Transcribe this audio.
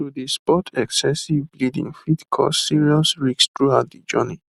to dey spot excessive bleeding fit cause serious risks throughout de journey